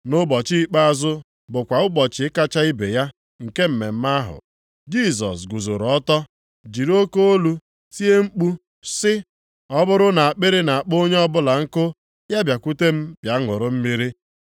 Nʼụbọchị ikpeazụ bụkwa ụbọchị kacha ibe ya nke mmemme ahụ, Jisọs guzooro ọtọ jiri oke olu tie mkpu sị, “Ọ bụrụ na akpịrị na-akpọ onye ọbụla nkụ, ya bịakwute m bịa ṅụrụ mmiri.